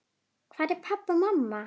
Hvar eru pabbi og mamma?